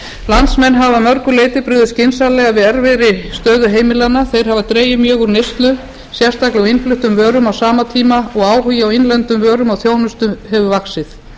landsmenn hafa að mörgu leyti brugðist skynsamlega við erfiðri stöðu heimilanna þeir hafa dregið mjög úr neyslu sérstaklega á innfluttum vörum á sama tíma og áhugi á innlendum vörum og þjónustu hefur vaxið